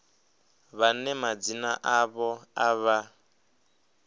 vhane madzina avho a vha